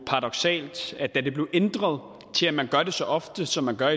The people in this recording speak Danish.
paradoksalt at da det blev ændret til at man gør det så ofte som man gør